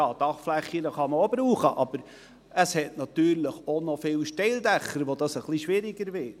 Ja, Dachflächen kann man auch brauchen, aber es hat natürlich auch noch viele Steildächer, wo das etwas schwieriger wird.